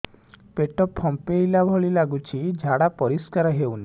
ପେଟ ଫମ୍ପେଇଲା ଭଳି ଲାଗୁଛି ଝାଡା ପରିସ୍କାର ହେଉନି